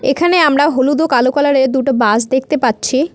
এখানে আমরা হলুদ ও কালো কালার -এর দুটো বাস দেখতে পাচ্ছি।